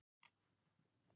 Svo var Tumi kisi og sól.